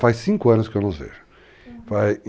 Faz 5 anos que eu não os vejo. Uhum.